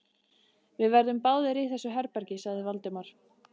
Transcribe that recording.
Við verðum báðir í þessu herbergi sagði Valdimar.